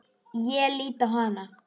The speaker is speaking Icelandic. Ég lít á hana.